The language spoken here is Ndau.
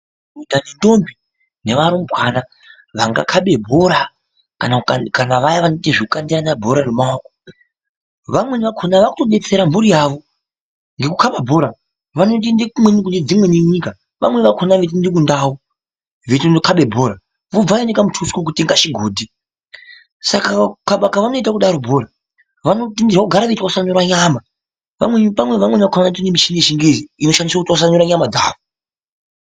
Madhodha nendombi nevarumbana vangakabe bhora kana vaya vanoite zvekukandirane bhora remaoko. Vamweni vakona vakutobetsera mhuri yavo ngekukaba bhora vanotoende kune dzimweni nyika vamweni vakona veitoende kundau veitono kabe bhora. Vubva vaura nekamutuso kekutenga chigodhi, saka kukaba kwavanoita kudaro bhora vano bvumirwa kugara veitwasanura nyama. Vamweni vakona vanotenga michini yechingezi inoshandiswa kutwasanura nyama dzavo.